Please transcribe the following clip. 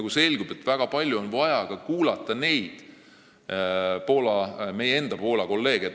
Ja selgub, et väga palju on vaja kuulata ka meie Poola kolleege.